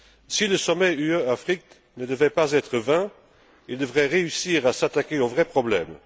Si le sommet UE Afrique ne devait pas être vain, il devrait réussir à s'attaquer aux vrais problèmes.